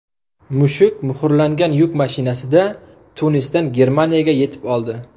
Mushuk muhrlangan yuk mashinasida Tunisdan Germaniyaga yetib oldi.